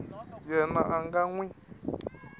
yena a nga n wi